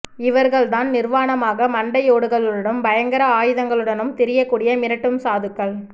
இவர்கள்தான் நிர்வாணமாக மண்டையோடுகளுடனும் பயங்கர ஆயுதங்களுடனும் திரியக் கூடிய மிரட்டும் சாதுக்கள்